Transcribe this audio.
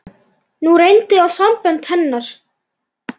Nú reyndi á sambönd hennar.